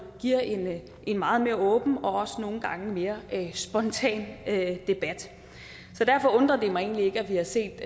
giver en meget mere åben og også nogle gange mere spontan debat så derfor undrer det mig egentlig ikke at vi har set